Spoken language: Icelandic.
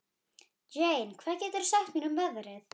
Jane, hvað geturðu sagt mér um veðrið?